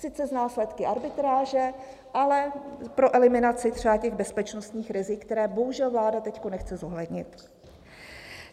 Sice s následky arbitráže, ale pro eliminaci třeba těch bezpečnostních rizik, která bohužel vláda teď nechce zohlednit.